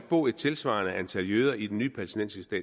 bo et tilsvarende antal jøder i den nye palæstinensiske